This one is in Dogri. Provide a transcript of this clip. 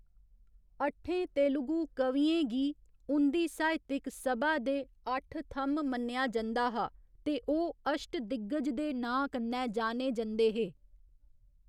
अट्ठें तेलुगु कवियें गी उं'दी साहित्यक सभा दे अट्ठ थ'म्म मन्नेआ जंदा हा ते ओह् अश्टदिग्गज दे नांऽ कन्नै जाने जंदे हे।